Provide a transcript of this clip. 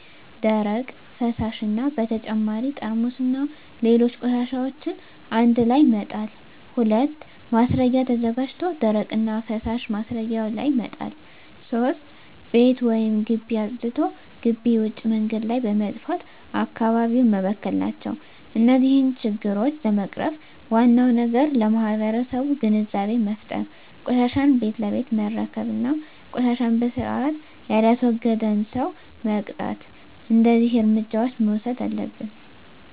ደረቅ፣ ፈሣሽ እና በተጨማሪ ጠርሙስና ሌሎች ቆሻሻዎችን አንድላይ መጣል። 2. ማስረጊያ ተዘጋጅቶ ደረቅና ፈሣሽ ማስረጊያው ላይ መጣል። 3. ቤት ወይም ግቢ አፅድቶ ግቢ ውጭ መንገድ ላይ በመድፋት አካባቢውን መበከል ናቸው። እነዚህን ችግሮች ለመቅረፍ ዋናው ነገር ለማህበረሠቡ ግንዛቤ መፍጠር፤ ቆሻሻን ቤት ለቤት መረከብ እና ቆሻሻን በስርአት የላስወገደን ሠው መቅጣት። እደዚህ እርምጃዎች መውሠድ አለብን።